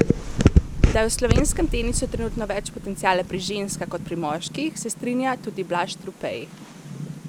Da je v slovenskem tenisu trenutno več potenciala pri ženskah kot pri moških, se strinja tudi Blaž Trupej.